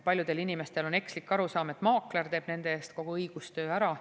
Paljudel inimestel on ekslik arusaam, et maakler teeb nende eest kogu õigustöö ära.